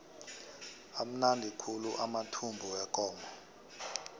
amnandi khulu amathumbu wekomo